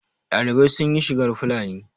ɗalibai sun yi shigar Fulani